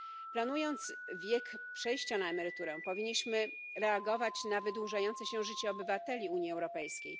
Planując wiek przejścia na emeryturę, powinniśmy reagować na wydłużające się życie obywateli Unii Europejskiej.